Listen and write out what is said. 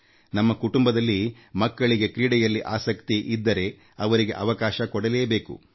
ನಮ್ಮ ಕುಟುಂಬದಲ್ಲಿ ಮಕ್ಕಳಿಗೆ ಕ್ರೀಡೆಯಲ್ಲಿ ಆಸಕ್ತಿ ಇದ್ದರೆ ಅವರಿಗೆ ಅವಕಾಶ ಕೊಡಬೇಕು